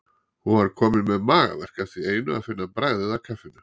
Hún var komin með magaverk af því einu að finna bragðið af kaffinu.